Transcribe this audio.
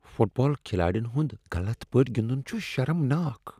Fit بال کھلاڑٮ۪ن ہنٛد غلط پٲٹھۍ گندن چھ شرمناک۔